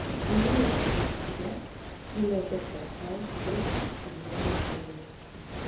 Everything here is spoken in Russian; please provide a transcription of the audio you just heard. имеется ли у тебя кино доктор хаус тридцать седьмая серия